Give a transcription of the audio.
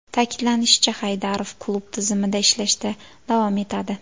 Ta’kidlanishicha, Haydarov klub tizimida ishlashda davom etadi.